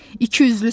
İkiyüzlüsən.